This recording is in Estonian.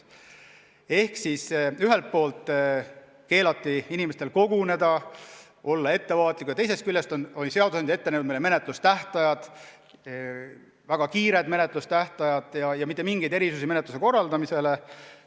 Ehk siis ühelt poolt keelati inimestel koguneda, kästi olla ettevaatlik, aga teisest küljest oli seadusandja meile ette kirjutanud väga kiired menetlustähtajad ja ei kehtinud mitte mingeid erisusi menetluste korraldamisele.